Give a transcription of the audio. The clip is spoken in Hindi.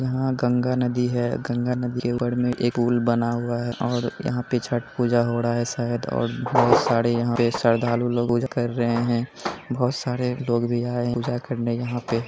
ये गंगा नदी है गंगा नदी के ऊपर में पूल बना हुआ है और यहाँ पर छठ पूजा हो रहा है शायद और बहुत सारे यहां पर श्रद्धालु लोग पूजा कर रहे है बहुत सारे लोग भी आए है पूजा करने यहाँ पे।